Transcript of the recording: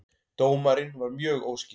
Dómarinn var mjög óskýr